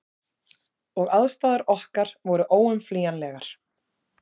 Og aðstæður okkar voru óumflýjanlegar.